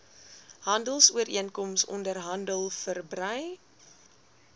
handelsooreenkoms onderhandel verbrei